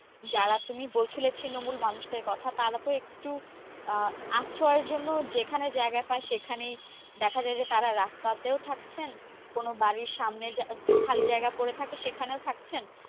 যারা তুমি বলছিলে ছিন্নমূল মানুষদের কথা তারা তো একটু আহ আশ্রয় জন্য যেখানে জায়গা পায় সেখানেই দেখা যাই যে তারা রাস্তাতেও থাকছেন কোনো বাড়ির সামনে খালি জায়গা পরে থাকে সেখানেও থাকছেন।